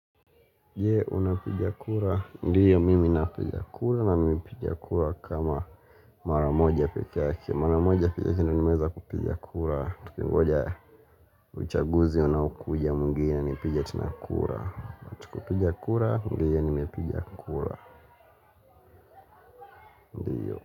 Je, unapiga kura, ndiyo mimi napiga kura na mimi piga kura kama mara moja pekee yake Mara moja piga kura, tukingoja uchaguzi unaokuja mwingine nipige tena kura Tukipiga kura, ndiyo nimepiga kura.